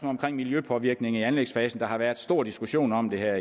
omkring miljøpåvirkninger i anlægsfasen der har været stor diskussion om det her